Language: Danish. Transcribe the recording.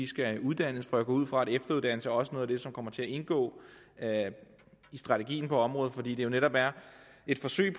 skal uddannes for jeg går ud fra at efteruddannelse også er noget af det som kommer til indgå i strategien på området fordi det netop er et forsøg